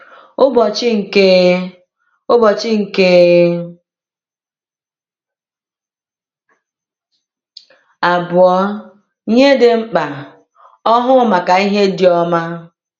Ụbọchị nke Ụbọchị nke Abụọ -Ihe Dị Mkpa: Ọhụụ Maka Ihe Dị Ọma